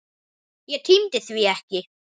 Ég tímdi því ekki.